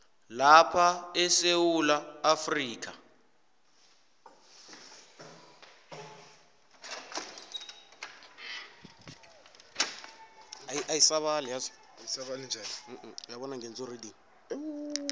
lapha esewula afrika